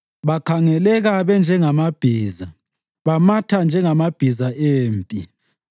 Bakhangeleka benjengamabhiza; bamatha njengamabhiza empi.